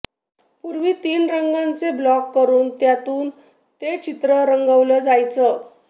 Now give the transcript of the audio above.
पूर्वी तीन रंगांचे ब्लॉक करून त्यातून ते चित्र रंगवलं जायचं